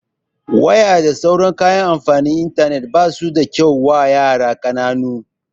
Waya da sauran kayan amfani da intanet basu da kyau wa yara ƙananu